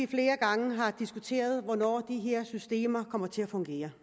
flere gange diskuteret hvornår de her systemer kommer til at fungere